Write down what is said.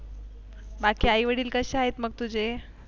बाकी आई-वडील कसे आहेत मग तुझे?